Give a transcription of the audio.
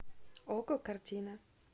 окко картина